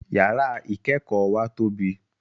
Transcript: Yàrá ìkẹ́kọ̀ọ́ wa tóbi